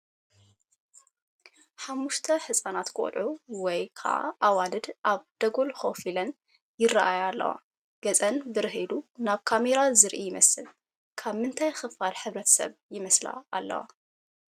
ሓሙሽተ ህፃናት ቆልዑት ወይ ከዓ ኣዋልድ ኣብ ደጎል ኮፍ ኢለን ይራኣያ ኣለዋ፣ ገፀን ብርህ ኢሉ ናብ ካሜራ ዝርኢ ይመስል፡፡ ካብ ምንታይ ክፋል ሕ/ሰብ ይመስላ ኣለዋ?